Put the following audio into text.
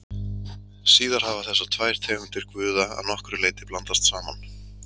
Síðar hafa þessar tvær tegundir guða að nokkru leyti blandast saman.